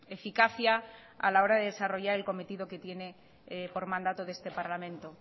eficacia a la hora de desarrollar el cometido que tiene por mandato de este parlamento